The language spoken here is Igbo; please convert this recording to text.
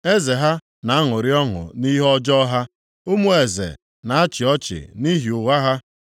“Eze ha na-aṅụrị ọṅụ nʼihe ọjọọ ha; ụmụ eze na-achị ọchị nʼihi ụgha ha.